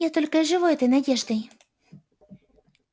я только и живу этой надеждой